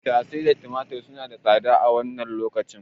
Tattasai da tumatir suna ta tsada a wannan lokacin.